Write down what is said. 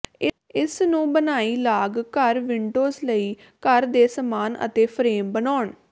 ਇਸ ਨੂੰ ਬਣਾਈ ਲਾਗ ਘਰ ਵਿੰਡੋਜ਼ ਲਈ ਘਰ ਦੇ ਸਾਮਾਨ ਅਤੇ ਫਰੇਮ ਬਣਾਉਣ